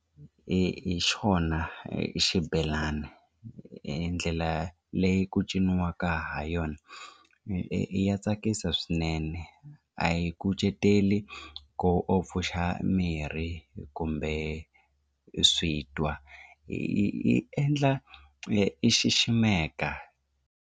Hi hi xona hi xibelani ndlela leyi ku cinciwaka ha yona ya tsakisa swinene a yi kucetela ku u pfuxa miri kumbe switwa yi yi endla i xiximeka.